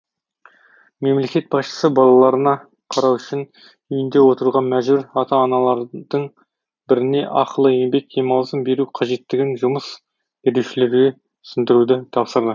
мемлекет басшысы балаларына қарау үшін үйінде отыруға мәжбүр ата аналардың біріне ақылы еңбек демалысын беру қажеттігін жұмыс берушілерге түсіндіруді тапсырды